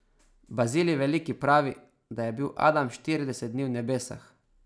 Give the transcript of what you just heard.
Bazilij Veliki pravi, de je bil Adam štirideset dni v nebesah.